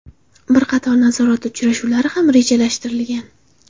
Bir qator nazorat uchrashuvlari ham rejalashtirilgan.